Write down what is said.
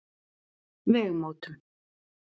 Vegamótum